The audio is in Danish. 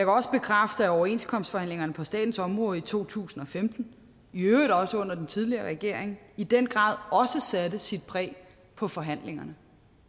også bekræfte at overenskomstforhandlingerne på statens område i to tusind og femten i øvrigt også under den tidligere regering i den grad satte sit præg på forhandlingerne